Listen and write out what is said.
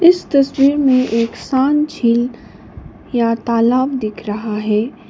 इस तस्वीर में एक शांत झील या तालाब दिख रहा है।